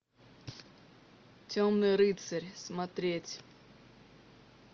темный рыцарь смотреть